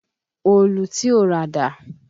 Òòlù tí o rà dà?